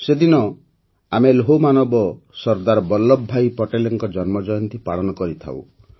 ସେହିଦିନ ଆମେ ଲୌହମାନବ ସର୍ଦ୍ଦାର ବଲ୍ଲଭଭାଇ ପଟେଲଙ୍କ ଜନ୍ମଜୟନ୍ତୀ ପାଳନ କରିଥାଉଁ